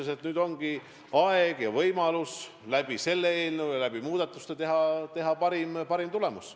Ma arvan, et nüüd on aeg ja võimalus muutmisettepanekute abil saavutada parim tulemus.